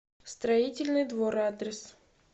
строительный двор адрес